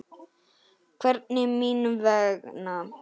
Hvernig mín vegna?